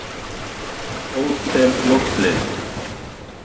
Hótel Loftleiðum